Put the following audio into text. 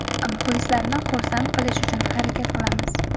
Muxlislarni xursand qilish uchun harakat qilamiz.